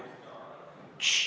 Tss!